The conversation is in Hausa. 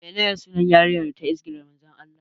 Menene sunan yarinya da ta izgila Manzon Allah?